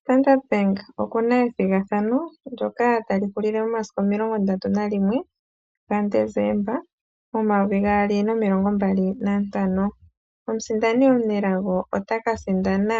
Standard Bank okuna ethigathano ndyoka tali hulile momasiku omilongo ndatu nalimwe gadesemba omayovi gaali nomilongo mbali nantano. Omusindani otaka sindana